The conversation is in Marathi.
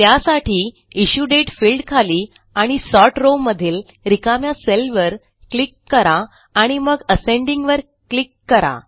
त्यासाठी इश्यू दाते फिल्डखाली आणि सॉर्ट rowमधील रिकाम्या सेलवर क्लिक करा आणि मग असेंडिंग वर क्लिक करा